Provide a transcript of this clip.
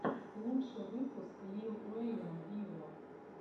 лучший выпуск лил уэйна виво